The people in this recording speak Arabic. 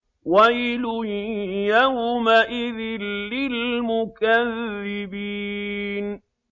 وَيْلٌ يَوْمَئِذٍ لِّلْمُكَذِّبِينَ